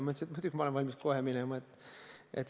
Ma ütlesin, et muidugi ma olen kohe valmis vastama.